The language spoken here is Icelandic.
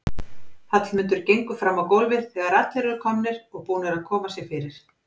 Hallmundur gengur fram á gólfið þegar allir eru komnir og búnir að koma sér fyrir.